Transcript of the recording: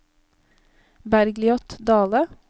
Bergliot Dahle